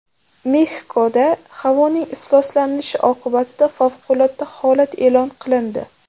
Mexikoda havoning ifloslanishi oqibatida favqulodda holat e’lon qilindi.